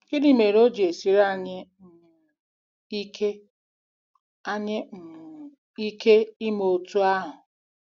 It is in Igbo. Gịnị mere o ji esiri anyị um ike anyị um ike ime otú ahụ?